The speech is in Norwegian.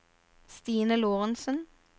Stine Lorentsen